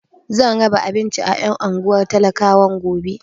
Zan raba abinci a unguwar talakawan gobe.